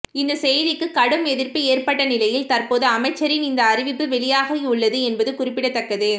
இந்த செய்திக்கு கடும் எதிர்ப்பு ஏற்பட்ட நிலையில் தற்போது அமைச்சரின் இந்த அறிவிப்பு வெளியாகியுள்ளது என்பது குறிப்பிடத்தக்கது